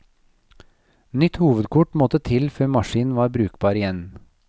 Nytt hovedkort måtte til før maskin var brukbar igjen.